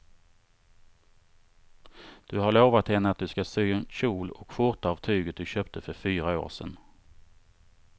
Du har lovat henne att du ska sy en kjol och skjorta av tyget du köpte för fyra år sedan.